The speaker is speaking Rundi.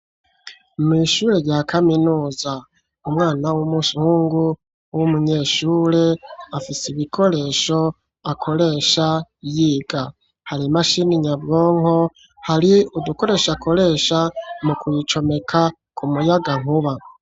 Mw'ishure rya kaminuza umwana w'umuhungu w'umunyeshure afise ibikoresho akoresha yiga. Hari imashini nyabwonko, hari udukoresho akoresha mu kuyicomeka ku muyagankuba.